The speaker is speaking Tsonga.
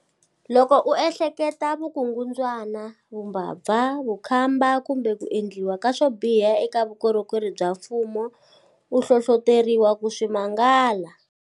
Loko u ehleketelela vukungundzwana, vumbabva, vukhamba kumbe ku endliwa ka swo biha eka vukorhokeri bya mfumo, u hlohloteriwa ku swi mangala.